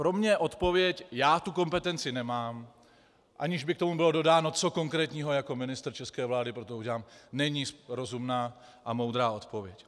Pro mě odpověď "já tu kompetenci nemám", aniž by k tomu bylo dodáno, co konkrétního jako ministr české vlády pro to udělám, není rozumná a moudrá odpověď.